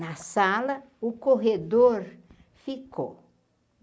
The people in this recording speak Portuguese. Na sala, o corredor ficou.